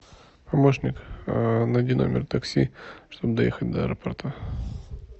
помощник найди номер такси чтобы доехать до аэропорта